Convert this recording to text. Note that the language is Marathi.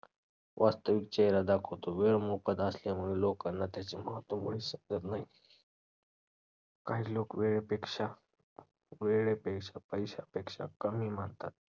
वास्तविक चेहरा दाखवतो. वेळ मोकादा असल्यामुळे लोकांना त्याचे महत्त्व मुळीच समजत नाही. काही लोक वेळेपेक्षा वेळेपेश~ पैशापेक्षा कमी मानतात.